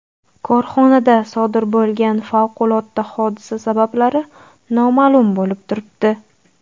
Korxonada sodir bo‘lgan favqulodda hodisa sabablari noma’lum bo‘lib turibdi.